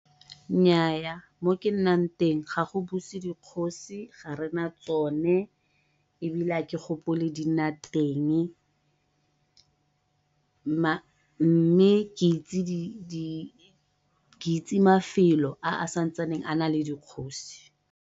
Nnyaa mo ke nnang teng ga go buse dikgosi, ga rena tsone ebile ga ke gopole di nna teng , mme ke itse mafelo a santsaneng a na le dikgosi.